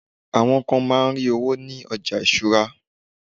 awon kan ma n ri owo ni oja isura